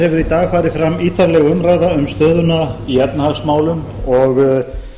dag farið fram ítarleg umræða um stöðuna í efnahagsmálum og